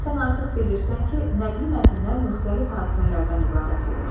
Sən artıq bilirsən ki, nəqli mətnlər müxtəlif hadisələrdən ibarət olur.